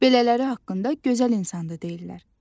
Belələri haqqında gözəl insandır deyirlər.